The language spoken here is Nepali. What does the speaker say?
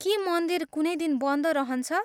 के मन्दिर कुनै दिन बन्द रहन्छ?